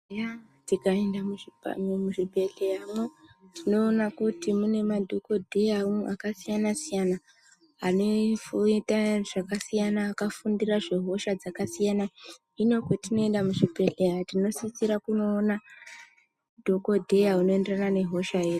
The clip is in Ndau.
Eya tikaenda muzvipa muzvibhedhleyanwo tinoona kuti mune madhokodheyawo akasiyana siyana anoita zvakasiyana akafundira zvehosha dzakasiyana hino patinoenda muzvibhedhleya tinosisa kunoona dhokodheya unoenderana nehosha yedu.